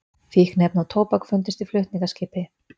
Fíkniefni og tóbak fundust í flutningaskipi